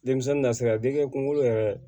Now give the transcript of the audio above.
Denmisɛnnin nasira dege kunkolo yɛrɛ